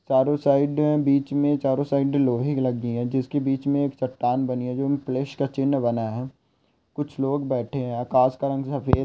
चारो साइड बिच में चारो साइड लोहे लगी है जिसके बिच में एक चट्टान बनी है जो में प्लस का चिन्ह बना है कुछ लोग बैठे है आकाश का रंग सफ़ेद--